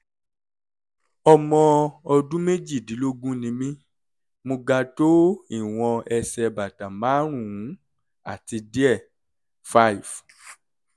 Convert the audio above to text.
ọmọ ọdún méjìdínlógún ni mí mo ga tó ìwọ̀n ẹsẹ̀ bàtà márùn-ún àti díẹ̀ five